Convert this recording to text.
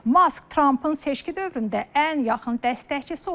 Mask Trampın seçki dövründə ən yaxın dəstəkçisi olub.